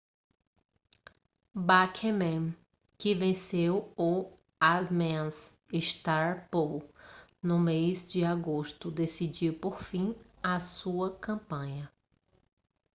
bachmann que venceu o ames straw poll no mês de agosto decidiu pôr fim a sua campanha